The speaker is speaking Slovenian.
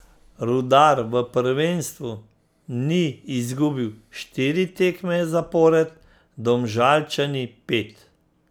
Rudar v prvenstvu ni izgubil štiri tekme zapored, Domžalčani pet.